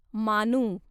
मानू